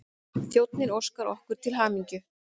Þjónninn óskar okkur til hamingju.